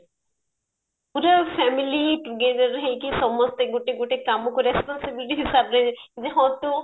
ପୁରା family together ହେଇକି ସମସ୍ତେ ଗୋଟେ ଗୋଟେ କାମକୁ responsibility ହିସାବରେ ଯେ ହଁ ତୁ